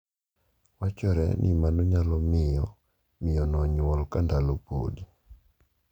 Wachore ni mano nyalo miyo miyo no onyuol ka ndalo podi.